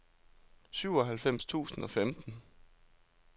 syvoghalvfems tusind og femten